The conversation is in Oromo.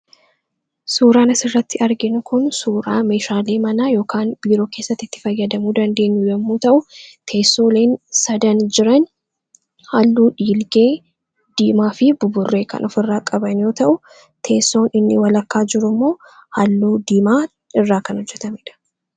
suuraanis irratti argin kun suuraa meeshaalii manaa ykaan biiroo keessatti itti fayyadamuu dandeenyuu yommuu ta'u teessoo leen sadan jiran halluu dhiilgee diimaa fi buburree kan of irraa qabanyoo ta'u teessoon inni walakkaa jiruu immoo halluu diimaa irraa kan hojjetamedha